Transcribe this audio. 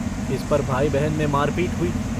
इस पर भाई-बहन में मार-पीट हुई।